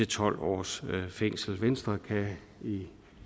tolv års fængsel venstre kan i